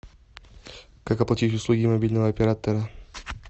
как оплатить услуги мобильного оператора